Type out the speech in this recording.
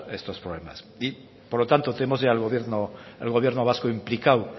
estos problemas por lo tanto tenemos ya al gobierno vasco implicado